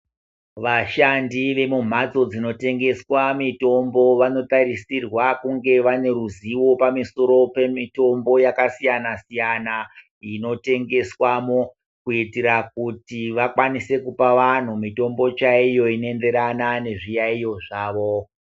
Vashandi vemumhatso dzinotengeswe mitombo vano tarisirwa kunga vane ruzivo pamusoro pemitombo yakasiyana siyana ino tengeswamo kuitira kuti vakwanise kupa vantu mitombo chaiyo ino enderana nezviyayiyo zvawo.